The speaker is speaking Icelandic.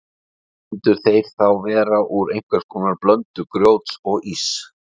Myndu þeir þá vera úr einhvers konar blöndu grjóts og íss.